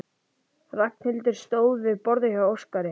Ragnhildur stóð við borðið hjá Óskari.